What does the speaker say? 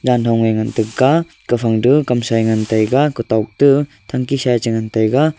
janhon eh ngan tegaa gafang du kamsa eh ngan taiga kutok te thanki sa eh che ngan taiga.